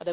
I will